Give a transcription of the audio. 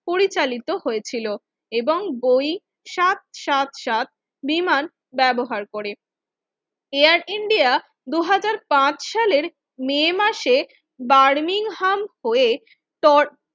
পরিচালিত হয়েছিল এবং বই সাত সাত সাত বিমান ব্যবহার করে এয়ার ইন্ডিয়া দুই হাজার পাঁচ সালের মে মাসে বারমিংহাম হয়ে তর